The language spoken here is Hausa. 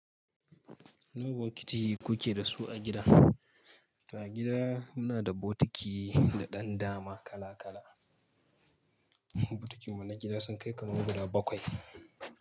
Nawa bokiti kuke da su a gida? A gida muna da bokiti da ɗan dama kala kala. Bokitin mu na gida sun kai kaman guda bakwai.